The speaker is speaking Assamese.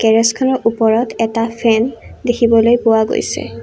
গেৰেজখনৰ ওপৰত এটা ফেন দেখিবলৈ পোৱা গৈছে।